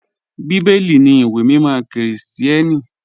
Bíbẹ́lì ní ìwé mímọ̀ Kírísítíánì.